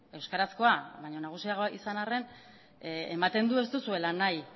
euskarazkoa baino nagusiagoa izan arren ematen du ez duzuela nahi